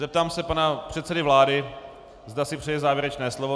Zeptám se pana předsedy vlády, zda si přeje závěrečné slovo.